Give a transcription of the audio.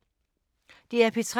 DR P3